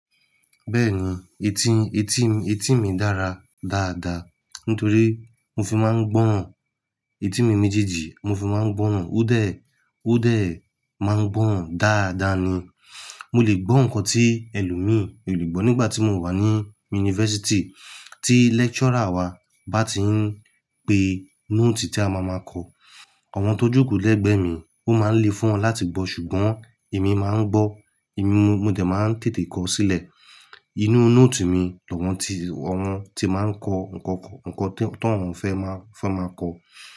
Bẹ́ẹ̀ni, etí, etí, etí mi dára dáadáa nítorí mo fi máa ń gbọ́ ohùn. Etí mi méjèèjì mo fi máa ń gbọ́ ohùn. Ó dẹ̀, ó dẹ̀ máa ń gbọ́ òun dáadáa ni. Mo lè gbọ́ nǹkan tí ẹlòmíì ò lè gbọ́. Nígbà tí mo wà ní yunifásítì, tí lecturer wa bá ti ń pe nóòtì tí a máa ma kọ, àwọn tó jù kú lẹ́gbẹ̀ẹ́ mi, ó máa ń lé fún wọn láti gbọ́ ṣùgbọ́n èmi máa ń gbọ́. Èmi mọ, mọ dẹ̀ máa ń tètè kọ sílẹ̀ inú nóòtì mi loun tí, loun tí máa ń kọ nǹkan, nǹkan tó, tóun fẹ́ má, fẹ́ máa kọ.